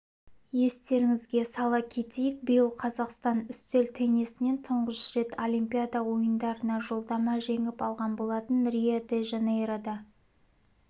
естеріңізге сала кетейік биыл қазақстан үстел теннисінен тұңғыш рет олимпиада ойындарына жолдама жеңіп алған болатын рио-де-жанейрода